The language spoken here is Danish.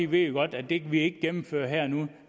vi godt at det kan vi ikke gennemføre her og nu